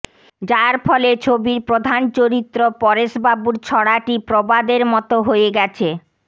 যার ফলে ছবির প্রধান চরিত্র পরেশবাবুর ছড়াটি প্রবাদের মতাে হয়ে গেছে